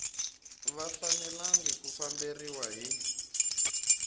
va fanelanga ku famberiwa hi